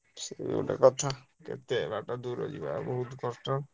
ସେ ଗୋଟେ କଥା କେତେ ବାଟ ଦୂର ଯିବା ବହୁତ କଷ୍ଟ।